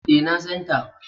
E, na san ta.